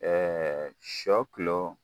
sɔ